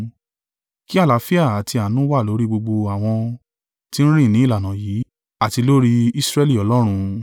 Kí àlàáfíà àti àánú wà lórí gbogbo àwọn tí ń rìn ní ìlànà yìí, àti lórí Israẹli Ọlọ́run.